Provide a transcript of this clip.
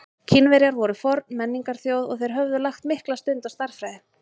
Kínverjar voru forn menningarþjóð og þeir höfðu lagt mikla stund á stærðfræði.